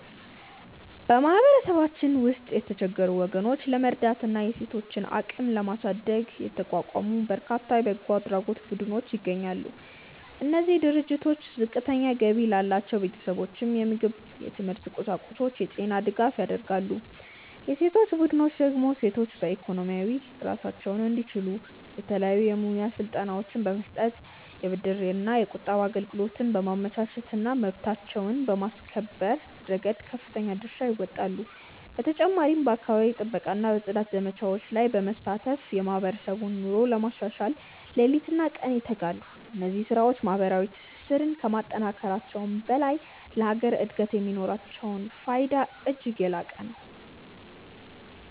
በማህበረሰባችን ውስጥ የተቸገሩ ወገኖችን ለመርዳትና የሴቶችን አቅም ለማሳደግ የተቋቋሙ በርካታ የበጎ አድራጎት ቡድኖች ይገኛሉ። እነዚህ ድርጅቶች ዝቅተኛ ገቢ ላላቸው ቤተሰቦች የምግብ፣ የትምህርት ቁሳቁስና የጤና ድጋፍ ያደርጋሉ። የሴቶች ቡድኖች ደግሞ ሴቶች በኢኮኖሚ ራሳቸውን እንዲችሉ የተለያዩ የሙያ ስልጠናዎችን በመስጠት፣ የብድርና ቁጠባ አገልግሎቶችን በማመቻቸትና መብታቸውን በማስከበር ረገድ ከፍተኛ ድርሻ ይወጣሉ። በተጨማሪም በአካባቢ ጥበቃና በጽዳት ዘመቻዎች ላይ በመሳተፍ የማህበረሰቡን ኑሮ ለማሻሻል ሌሊትና ቀን ይተጋሉ። እነዚህ ስራዎች ማህበራዊ ትስስርን ከማጠናከራቸውም በላይ ለሀገር እድገት የሚኖራቸው ፋይዳ እጅግ የላቀ ነው።